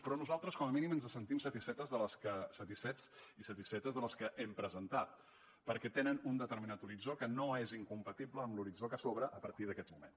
però nosaltres com a mínim ens sentim satisfets i satisfetes de les que hem presentat perquè tenen un determinat horitzó que no és incompatible amb l’horitzó que s’obre a partir d’aquest moment